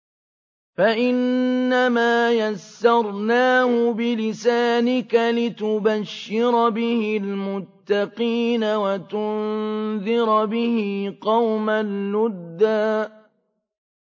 فَإِنَّمَا يَسَّرْنَاهُ بِلِسَانِكَ لِتُبَشِّرَ بِهِ الْمُتَّقِينَ وَتُنذِرَ بِهِ قَوْمًا لُّدًّا